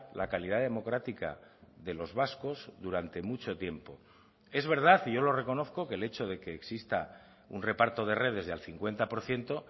la calidad democrática de los vascos durante mucho tiempo es verdad y yo lo reconozco que el hecho de que exista un reparto de redes de al cincuenta por ciento